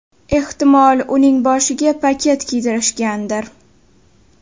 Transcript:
Ehtimol uning boshiga paket kiydirishgandir.